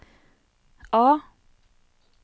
A